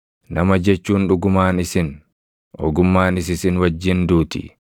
“Nama jechuun dhugumaan isin; ogummaanis isin wajjin duuti!